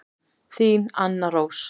Þín Anna Rós.